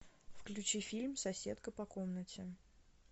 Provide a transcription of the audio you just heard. включи фильм соседка по комнате